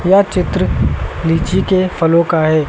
यह चित्र लीची के फलों का है।